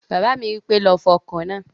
Bàbá mi wípé, "lọ fọ ọkọ̀ náà!"